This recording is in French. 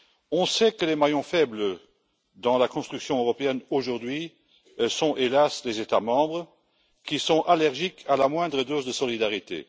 On sait que les maillons faibles dans la construction européenne aujourd'hui sont, hélas, les États membres, qui sont allergiques à la moindre dose de solidarité.